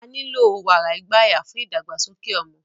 Á nilo wara igbaya fun idagbasoke ọmọ